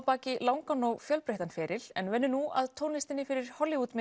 baki langan og fjölbreyttan feril en vinnur nú að tónlistinni fyrir